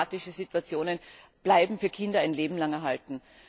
Das heißt, dramatische Situationen bleiben für Kinder ein Leben lang erhalten.